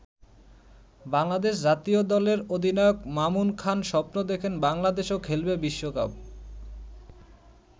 বাংলাদেশ জাতীয় দলের অধিনায়ক মামুন খান স্বপ্ন দেখেন বাংলাদেশও খেলবে বিশ্বকাপ।